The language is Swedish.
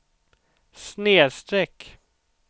snedsträck